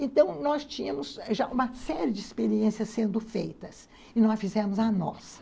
Então, nós tínhamos já uma série de experiências sendo feitas e nós fizemos a nossa.